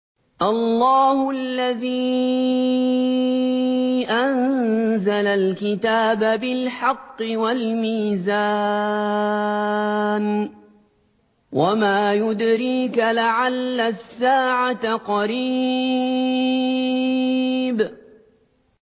اللَّهُ الَّذِي أَنزَلَ الْكِتَابَ بِالْحَقِّ وَالْمِيزَانَ ۗ وَمَا يُدْرِيكَ لَعَلَّ السَّاعَةَ قَرِيبٌ